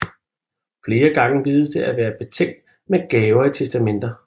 Flere gange vides det at være betænkt med gaver i testamenter